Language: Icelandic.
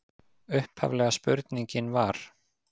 Upphaflega spurningin var: